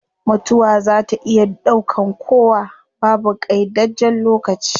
Mutuwa zaa ta iya daukan kowa, babu qaidajjen lokaci